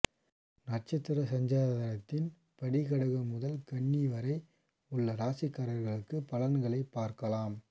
நட்சத்திர சஞ்சாரத்தின் படி கடகம் முதல் கன்னி வரை உள்ள ராசிக்காரர்களுக்கு பலன்களைப் பார்க்கலாம்